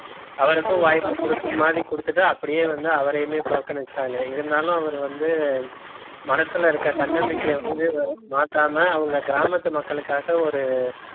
அவருக்கும் வாய்ப்பு கொடுக்கிற மாதிரி கொடுத்துட்டு அப்படியே வந்து அவரையுமே புறக்கணிச்சுட்டாங்க இருந்தாலும் அவர் வந்து மனசுல இருக்க தன்னம்பிக்கைய வந்து மாத்தாம அவங்க கிராமத்து மக்களுக்காக ஒரு